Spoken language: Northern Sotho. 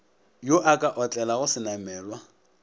yo a ka otlelago senamelwa